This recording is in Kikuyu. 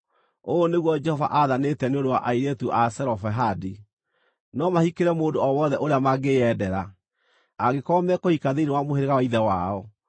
Ũũ nĩguo Jehova athanĩte nĩ ũndũ wa airĩtu a Zelofehadi: No mahikĩre mũndũ o wothe ũrĩa mangĩĩendera, angĩkorwo mekũhika thĩinĩ wa mũhĩrĩga wa ithe wao.